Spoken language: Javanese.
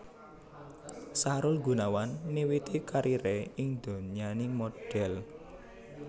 Sahrul Gunawan miwiti kariré ing donyaning modhel